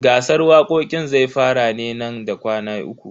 Gasar waƙoƙin zai fara ne nan da kwana uku.